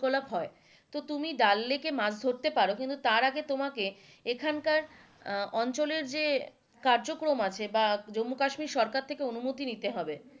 তো তুমি ডাল লেকে মাছ মাছ ধরতে পারো, তারআগে তোমাকে এখানকার আহ অঞ্চলের যে কার্যক্রম আছে বা জম্মু কাশ্মীর সরকারের থেকে অনুমতি নিতে হবে,